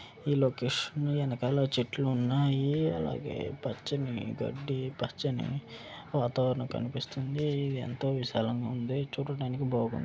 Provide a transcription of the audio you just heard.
ఈ లొకేషన్ వెనకాల చెట్లు ఉన్నాయి అలాగే పచ్చని గడ్డి పచ్చని వాతావరణం కనిపిస్తుంది ఎంతో విశాలంగా ఉంది చూడటానికి బాగుంది.